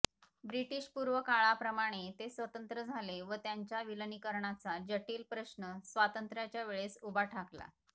ब्रिटिशपूर्व काळाप्रमाणे ते स्वतंत्र झाले व त्यांच्या विलीनीकरणाचा जटिल प्रश्न स्वातंत्र्याच्या वेळेस उभा ठाकला